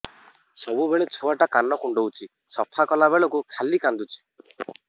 ସବୁବେଳେ ଛୁଆ ଟା କାନ କୁଣ୍ଡଉଚି ସଫା କଲା ବେଳକୁ ଖାଲି କାନ୍ଦୁଚି